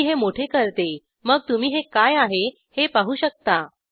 मी हे मोठे करते मग तुम्ही हे काय आहे हे पाहू शकता